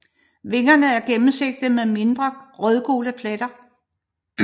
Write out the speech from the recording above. Vingerne er gennemsigtige med mindre rødgule pletter